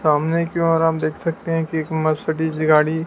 सामने की ओर हम देख सकते हैं कि एक मर्सिडीज़ गाड़ी--